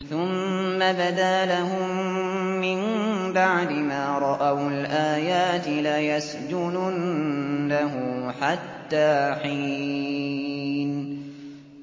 ثُمَّ بَدَا لَهُم مِّن بَعْدِ مَا رَأَوُا الْآيَاتِ لَيَسْجُنُنَّهُ حَتَّىٰ حِينٍ